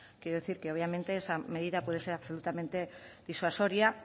quiero decir que obviamente esa medida puede ser absolutamente disuasoria